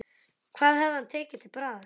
Hvað hefði hann tekið til bragðs?